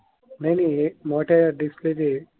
नाही नाही हे मोठ्या डिस्क चे.